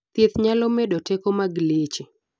thieth nyalo medo teko mag leche